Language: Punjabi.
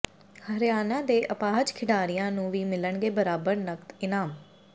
ਹਰਿਆਣਾ ਦੇ ਅਪਾਹਜ ਖਿਡਾਰੀਆਂ ਨੂੰ ਵੀ ਮਿਲਣਗੇ ਬਰਾਬਰ ਨਕਦ ਇਨਾਮ